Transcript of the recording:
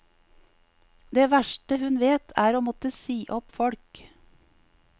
Det verste hun vet er å måtte si opp folk.